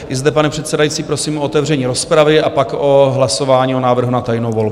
I zde, pane předsedající, prosím o otevření rozpravy a pak o hlasování, o návrhu na tajnou volbu.